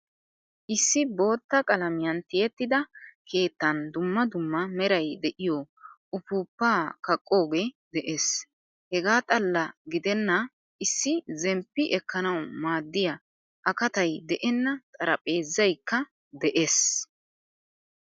Issi boottaa qalamiyan tiyettida keettan dumma dumma meray de'iyo uppupa kaqoge de'ees. Hega xalla gidena issi zemppi ekkanawu maadiyaa akatay de'enna xaraphpheezzaykka de'ees.